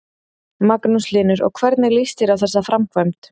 Magnús Hlynur: Og hvernig lýst þér á þessa framkvæmd?